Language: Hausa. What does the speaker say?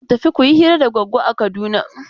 Gobe ku tafi ku yi hira da Goggo a Kaduna!